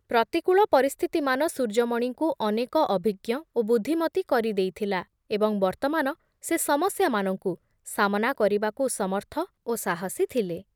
ପ୍ରତିକୂଳ ପରିସ୍ଥିତିମାନ ସୂର୍ଯ୍ୟମଣିଙ୍କୁ ଅନେକ ଅଭିଜ୍ଞ ଓ ବୁଦ୍ଧିମତୀ କରି ଦେଇଥିଲା ଏବଂ ବର୍ତ୍ତମାନ ସେ ସମସ୍ୟାମାନଙ୍କୁ ସାମନା କରିବାକୁ ସମର୍ଥ ଓ ସାହସୀ ଥିଲେ ।